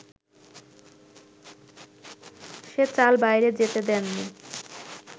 সে চাল বাইরে যেতে দেননি